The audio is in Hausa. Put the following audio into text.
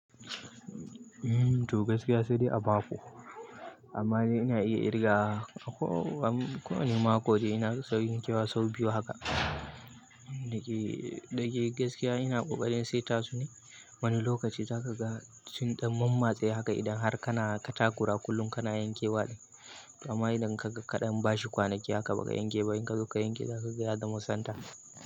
To gaskiya sadai a mako, amma ni ina iya ƙirga ko wani makon da ina sau yin kewa sau biyu haka. Dake gaskiya ina ƙoƙarin sai tasu ne. Wani lokaci zaka ga sun ɗan mammatse haka idan har kana katakura kullum kana yankewa ne. Amma idan kaga kaɗan bashi kwanaki haka baka yanke ba, in ka zo ka yanke zaka ga ya zama santa.